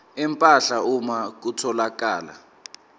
empahla uma kutholakala